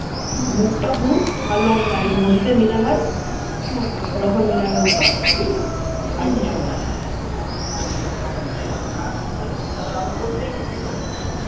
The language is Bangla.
মুখটা হুচ আর লম্বা যেমন মসজিদ এর মিনার হয় ওরকম মিনারের মতো আসছে বুঝলে আর কিছু না